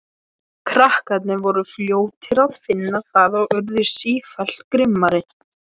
Krakkarnir voru fljótir að finna það og urðu sífellt grimmari.